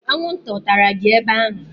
Anwụnta ọ tara gị ebe ahụ?